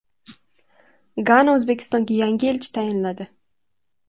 Gana O‘zbekistonga yangi elchi tayinladi.